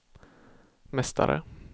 mästare